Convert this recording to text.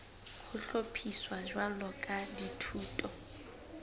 ho hlophiswa jwalo ka dithuto